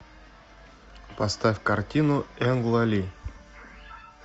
поставь картину энгла ли